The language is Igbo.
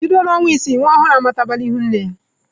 Bido n'ọnwa isii nwa ọhụrụ amatabala ihu nne ya.